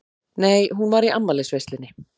Nei, hún var í afmælisveislunni.